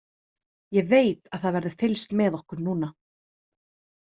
Ég veit að það verður fylgst með okkur núna.